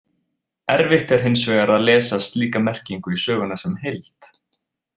Erfitt er hins vegar að lesa slíka merkingu í söguna sem heild.